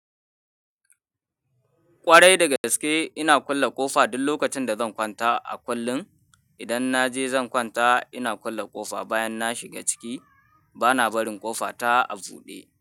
Ƙwarai daga gaske ina kulle ƙofa duk lokacin da zan kwanta a kullum. Idan na je zan kwanta ina kulle ƙofa bayan na shiga ciki, bana barin ƙofa ta a buɗe.